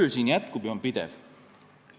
See töö jätkub ja on pidev.